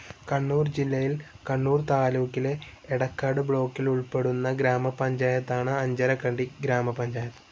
കണ്ണൂർ ജില്ലയിൽ കണ്ണൂർ താലൂക്കിലെ എടക്കാട് ബ്ലോക്കിൽ ഉൾപ്പെടുന്ന ഗ്രാമപഞ്ചായത്താണ് അഞ്ചരക്കണ്ടി ഗ്രാമപഞ്ചായത്ത്.